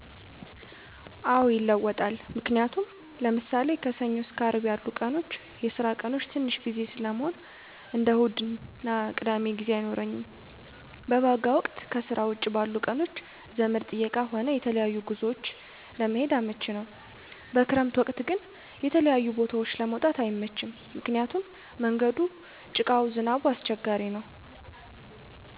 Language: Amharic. አዎ ይለወጣል። ምክንያቱም ለምሳሌ ከሰኞ እስከ አርብ የሉ ቀናቶች የስራ ቀኖቸ ትንሽ ቢዚ ሰለምሆን እንደ እሁድና ቅዳሜ ጊዜ አይኖረኝም። በበጋ ወቅት ከስራ ውጭ ባሉ ቀናቶች ዘመድ ጥየቃም ሆነ የተለያዩ ጉዞዎች ለመሄድ አመችነው። በከረምት ወቅት ግን የተለያዩ ቦታዎች ለመውጣት አይመችም ምክንያቱም መንገዱ ጭቃው ዝናቡ አሰቸጋሪነው።